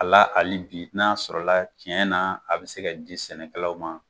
A la ali bi n'a sɔrɔla tiɲɛ na a bɛ se ka di sɛnɛkɛlaw ma.